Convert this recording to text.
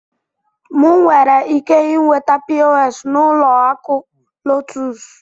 M nwere ike inweta POS n'ụlọ akụ LOTUS?